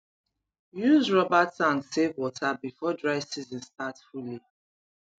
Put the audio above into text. use rubber tank save water before dry season start fully